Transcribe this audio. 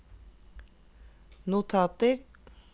notater